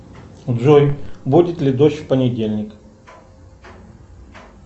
джой будет ли дождь в понедельник